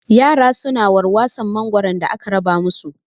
Yara su na warwason mangoro da aka raba mu su